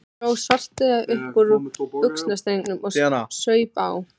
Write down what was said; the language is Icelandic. Dró Svartadauða upp úr buxnastrengnum og saup á.